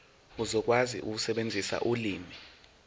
uzokwazi ukusebenzisa ulimi